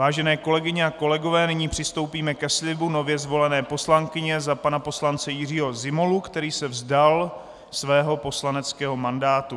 Vážené kolegyně a kolegové, nyní přistoupíme ke slibu nově zvolené poslankyně za pana poslance Jiřího Zimolu, který se vzdal svého poslaneckého mandátu.